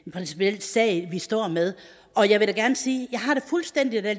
en principiel sag vi står med og jeg vil da gerne sige at jeg har det fuldstændig